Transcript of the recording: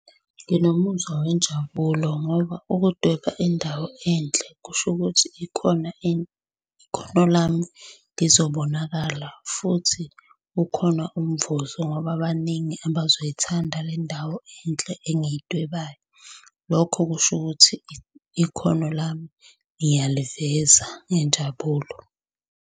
Nginomuzwa wenjabulo ngoba ukudweba indawo enhle kusho ukuthi ikhona ikhono lami lizobonakala futhi ukhona umvuzo ngoba baningi abazoyithanda le ndawo enhle engiyidwebayo. Lokho kusho ukuthi ikhono lami ngiyaliveza ngenjabulo.